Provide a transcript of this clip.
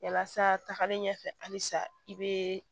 Yalasa tagalen ɲɛfɛ halisa i be